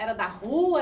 Era da rua?